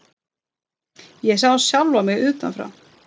Ég sá sjálfa mig utan frá.